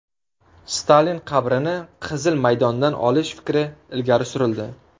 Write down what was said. Stalin qabrini Qizil maydondan olish fikri ilgari surildi.